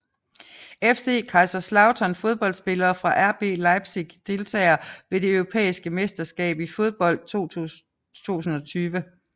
FC Kaiserslautern Fodboldspillere fra RB Leipzig Deltagere ved det europæiske mesterskab i fodbold 2020